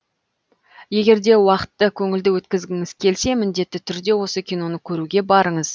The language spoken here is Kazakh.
егер де уақытты көңілді өткізгіңіз келсе міндетті түрде осы киноны көруге барыңыз